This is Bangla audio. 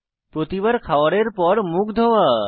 প্রতিবার খাওয়ারের পর মুখ ধোয়া